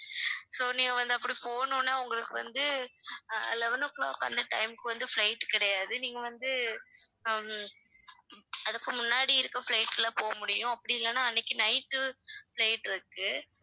so நீங்க வந்து அப்படி போகணும்னா உங்களுக்கு வந்து அஹ் eleven o'clock அந்த time க்கு வந்து flight கிடையாது நீங்க வந்து ஹம் அதுக்கு முன்னாடி இருக்க flights லாம் போக முடியும் அப்படி இல்லன்னா அன்னைக்கு night உ flight இருக்கு